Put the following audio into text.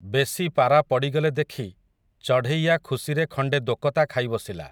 ବେଶୀ ପାରା ପଡ଼ିଗଲେ ଦେଖି, ଚଢ଼େଇଆ ଖୁସିରେ ଖଣ୍ଡେ ଦୋକତା ଖାଇ ବସିଲା ।